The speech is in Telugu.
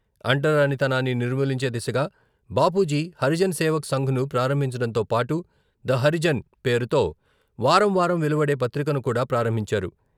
అంటరానితనాన్ని నిర్మూలించే దిశగా బాపూజీ హరిజన్ సేవక్ సంఘ్‌ను ప్రారంభించడంతో పాటు 'ద హరిజన్' పేరుతో వారం వారం వెలువడే పత్రికను కూడా ప్రారంభించారు.